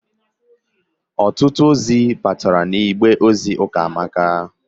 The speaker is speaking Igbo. Ọtụtụ ozi bataara n'igbe ozi Ụkamaka.